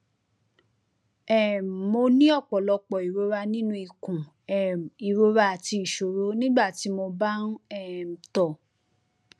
um mo ní ní ọpọlọpọ ìrora nínú ikùn um ìrora àti ìṣòro nígbà tí mo bá ń um tọ